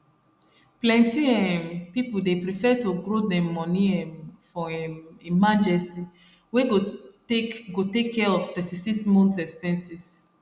plenty um people dey prefer to grow dem money um for um emergency wey go take go take care of 36 month expenses